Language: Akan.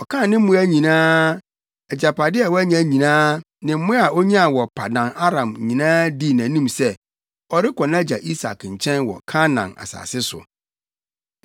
Ɔkaa ne mmoa nyinaa, agyapade a wanya nyinaa ne mmoa a onyaa wɔ Paddan-Aram nyinaa dii nʼanim sɛ, ɔrekɔ nʼagya Isak nkyɛn wɔ Kanaan asase so.